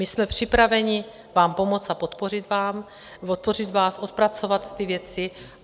My jsme připraveni vám pomoci a podpořit vás, odpracovat ty věci.